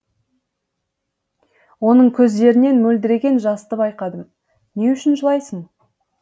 оның көздерінен мөлдіреген жасты байқадым не үшін жылайсың